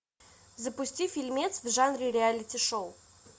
запусти фильмец в жанре реалити шоу